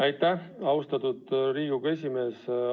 Aitäh, austatud Riigikogu esimees!